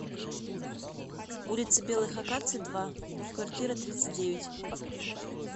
улицы белых акаций два в квартира тридцать девять